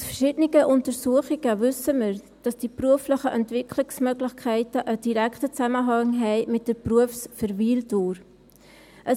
Aus verschiedenen Untersuchungen wissen wir, dass die beruflichen Entwicklungsmöglichkeiten einen direkten Zusammenhang mit der Berufsverweildauer haben.